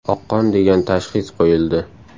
Oqqon degan tashxis qo‘yildi.